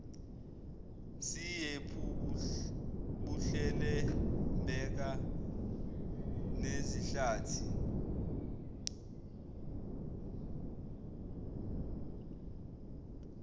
siyephu buhlelembeka nezihlathi